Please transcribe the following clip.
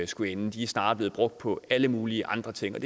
skulle ende de er snarere blevet brugt på alle mulige andre ting det